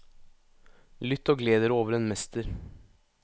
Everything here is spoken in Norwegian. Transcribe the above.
Lytt og gled dere over en mester.